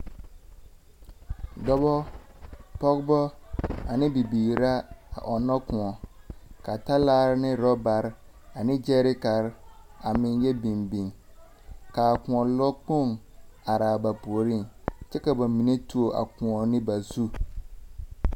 dɔbɔ, pɔgebɔ ane bibiir ra a ɔnnɔ kõɔ. Ka talaare ne orɔbare ane gyɛrekare a meŋ yɔ biŋ biŋ ka kõɔ lɔkpoŋ are a ba puoriŋ kyɛka ba mine tuoe akõ2 ne ba zu.